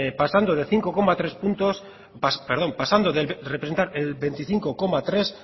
pasando de representar el veinticinco coma tres